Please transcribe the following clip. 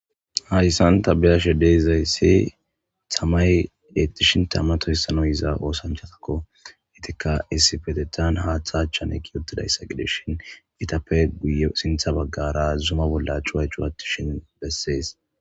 Hayssan ta be7ashe da7izayssi tamay eexxishin tama toysanaw yiza oosanchatakko. Eetikka issipetettan haatha achan eqqidi uttdayssa gidishin etappe guye sintha baggaara Zuma bolla cuway cuwattishin bessees.